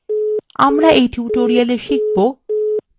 আমরা in tutorial শিখব :